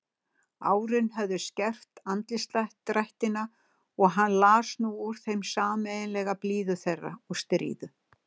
Árin höfðu skerpt andlitsdrættina og hann las nú úr þeim sameiginlega blíðu þeirra og stríðu.